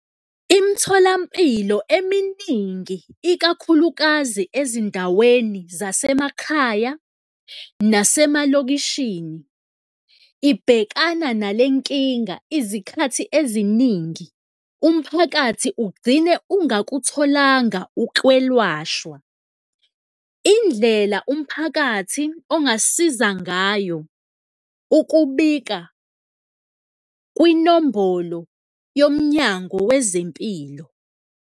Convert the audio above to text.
Imitholampilo eminingi, ikakhulukazi ezindaweni zasemakhaya nasemalokishini, ibhekana nale nkinga izikhathi eziningi, umphakathi ugcine ungakutholanga ukwelwashwa. Indlela umphakathi ongasiza ngayo ukubika kwinombolo yoMnyango Wezempilo.